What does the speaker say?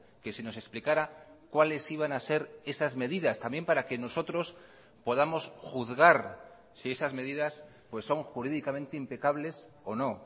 que se nos explicara cuáles iban a ser esas medidas también para que nosotros podamos juzgar si esas medidas pues son jurídicamente impecables o no